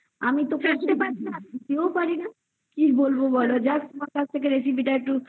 আমি তো বানাতেও পারিনা just কি বলবো বোলো তোমার কাছ থেকে একটু recipe তা